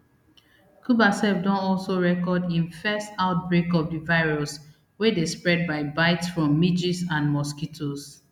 cuba sef don also record im first outbreak of di virus wey dey spread by bites from midges and mosquitos